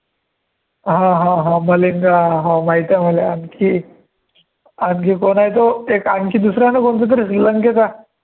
हा हा हा मलिंगा, हा माहितीये मला आणखी, आणखी कोण आहे तो एक आणखी दूसरा ना कोण तरी श्रीलंकेचा